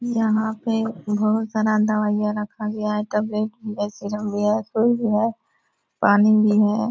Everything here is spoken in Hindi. यहाँ पे बहुत सारा दवाइयाँ रखा गया है। टैबलेट भी है सिरप भी है सुई भी है पानी भी है।